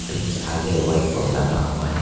बीच आगे white board लगा हुआ है।